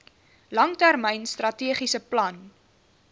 langtermyn strategiese plan